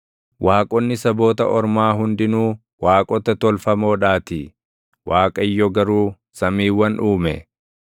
Waaqonni saboota ormaa hundinuu waaqota tolfamoodhaatii; Waaqayyo garuu samiiwwan uume.